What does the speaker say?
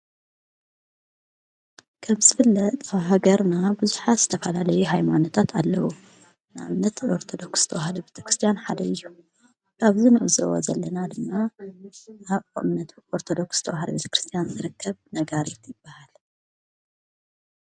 ከምዝፍለጥ ፍለጥ ኣብ ሃገርና ብዙሓት ዝተኻላለዩ ኃይማኖታት ኣለዉ፡፡ ንኣብነት ኦርቶዶክስ ተውሃዶ ቤተ ክርስቲያን ሓደ እዩ፡፡ ኣብ ንዕዘቦ ዘለና ድማ ናይ ኦምነት ኦርቶዶክስ ተውሃዶ ቤተ ክርስቲያን ዝርከብ ነጋርት ይበሃል፡፡